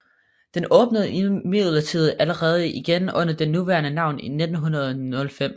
Den åbnede imidlertid allerede igen under det nuværende navn i 1905